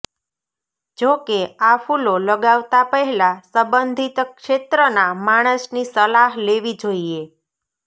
જો કે આ ફૂલો લગાવતા પહેલા સંબંધિત ક્ષેત્રનાં માણસની સલાહ લેવી જોઇએ